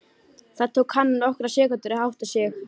Það tók hana nokkrar sekúndur að átta sig.